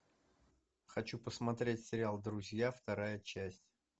хочу посмотреть сериал друзья вторая часть